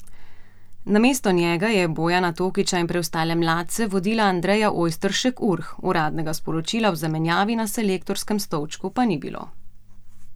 Namesto njega je Bojana Tokića in preostale mladce vodila Andreja Ojsteršek Urh, uradnega sporočila o zamenjavi na selektorskem stolčku pa ni bilo.